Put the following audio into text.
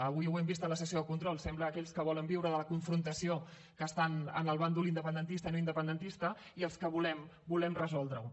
avui ho hem vist a la sessió de control sembla aquells que volen viure de la confrontació que estan en el bàndol independentista i no independentista i els que volem resoldre ho